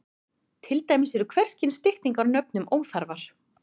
Til dæmis eru hvers kyns styttingar á nöfnum óþarfar.